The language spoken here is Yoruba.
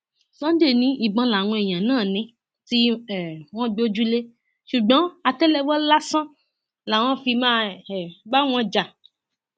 sunday ni ìbọn làwọn èèyàn náà ní tí um wọn gbójúlẹ ṣùgbọn àtẹlẹwọ lásán làwọn fi máa um bá wọn jà